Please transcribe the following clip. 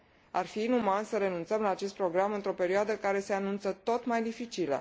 Ar fi inuman să renunțăm la acest program într o perioadă care se anunță tot mai dificilă.